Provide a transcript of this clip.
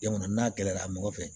Jamana n'a gɛlɛra mɔgɔ fɛ